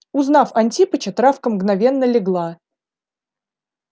узнав антипыча травка мгновенно легла